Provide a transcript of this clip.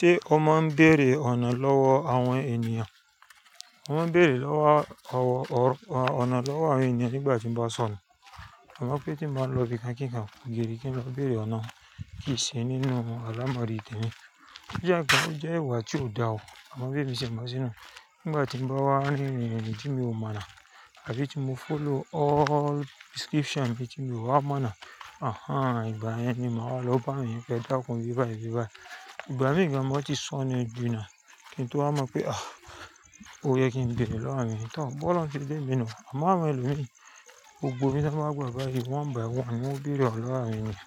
Té ó máa ń bèrè ọ̀nà lọ́wọ́ àwọn ènìyàn? Mo máa ń bèrè lọ́wọ́ ọwọ́ ọ̀rọ̀ ọ̀nà lọ́wọ́ àwọn ènìyàn nígbà tí mo bá sọnù. Àmọ́ mọ̀ pé tí mo bá lọ ibi kíńkán béèrè kí n lọ bèrè ọ̀nà kì í ṣi nínú àlámọ̀rí temi. Ó jẹ́ ìwà tí ò dáa o. Àmọ́ bí èmi ṣe mọ sí i nú. Nígbà tí mo bá wá ririri tí mi ò mọ náà tàbí tí mo follow all description ibí tí mo bá wá mọ̀ náà, "àhán, ìgbà yẹn ni màá wá lọ bá ènìyàn pe ẹ̀dákun ibi bayi ibi bayi." Ìgbà mìí gan ma ti sọnù ji náà kí n tó wa mọ̀ pé "àh, ó yẹ kí n bèrè lọ́wọ́ àwọn ènìyàn." Tọ bí Ọlọ́run ṣe dá èmi nínú. Ṣùgbọ́n àwọn ẹlòmí, gbogbo ibi tí wọ́n bá gbà bayi one by one ni wọ́n ó bèrè ọ̀nà lọ́wọ́ àwọn ènìyàn.